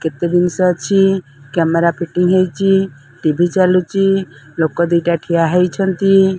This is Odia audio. କେତେ ଜିନିଷ ଅଛି। କ୍ୟାମେରା ଫିଟିଂ ହେଇଚି। ଟି_ଭି ଚାଲୁଚି। ଲୋକ ଦିଟା ଠିଆ ହେଇଛନ୍ତି।